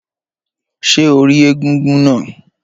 Ṣé o rí egúngún náà?